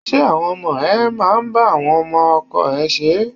Ṣé àwọn ọmọ ẹ máa ba àwọn ọmọ ọkọ ẹ ṣeré?